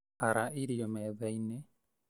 Ara irio methainĩ